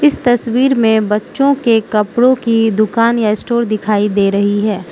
इस तस्वीर में बच्चों के कपड़ों की दुकान या स्टोर दिखाई दे रही है।